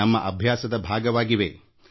ನಾವು ಅದಕ್ಕೆ ಹೊಂದಿಕೊಂಡುಬಿಟ್ಟಿದ್ದೇವೆ